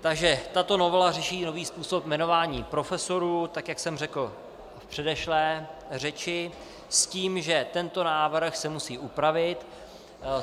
Takže tato novela řeší nový způsob jmenování profesorů, tak jak jsem řekl v předešlé řeči, s tím, že tento návrh se musí upravit.